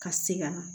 Ka se ka